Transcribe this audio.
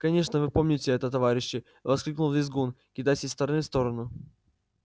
конечно вы помните это товарищи воскликнул визгун кидаясь из стороны в сторону